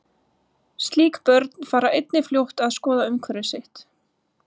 Slík börn fara einnig fljótt að skoða umhverfi sitt.